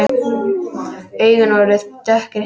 Augun voru dökkir hyljir.